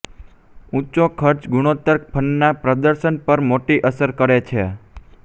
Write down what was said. ઊંચો ખર્ચ ગુણોત્તર ફંડના પ્રદર્શન પર મોટી અસર કરે છે